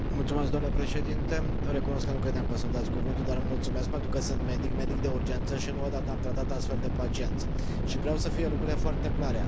Domnule președinte, recunosc că nu credeam că o să îmi dați cuvântul, dar vă mulțumesc, pentru că sunt medic, medic de urgență, și nu o dată am tratat astfel de pacienți și vreau să fie lucrurile foarte clare.